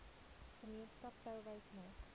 gemeenskap touwys maak